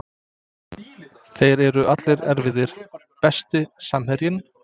Þeir eru allir erfiðir Besti samherjinn?